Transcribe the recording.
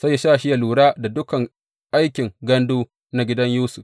sai ya sa shi yă lura da dukan aikin gandu na gidan Yusuf.